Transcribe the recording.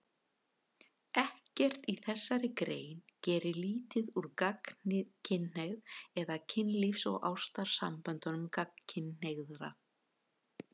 Ekkert í þessari grein gerir lítið úr gagnkynhneigð eða kynlífs- og ástarsamböndum gagnkynhneigðra.